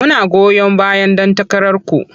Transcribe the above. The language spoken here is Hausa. Muna goyon bayan ɗan takararku.